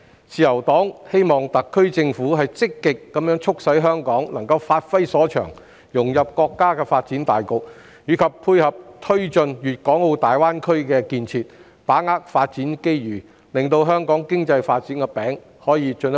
自由黨希望特區政府積極促使香港發揮所長，融入國家發展大局及配合推進粵港澳大灣區建設，把握發展機遇，進一步造大香港經濟發展的"餅"。